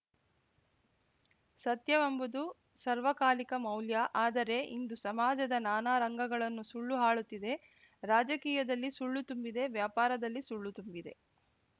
ಸತ್ಯವೆಂಬುದು ಸರ್ವಕಾಲಿಕ ಮೌಲ್ಯ ಆದರೆ ಇಂದು ಸಮಾಜದ ನಾನಾ ರಂಗಗಳನ್ನು ಸುಳ್ಳು ಆಳುತ್ತಿದೆ ರಾಜಕೀಯದಲ್ಲಿ ಸುಳ್ಳು ತುಂಬಿದೆ ವ್ಯಾಪಾರದಲ್ಲಿ ಸುಳ್ಳು ತುಂಬಿದೆ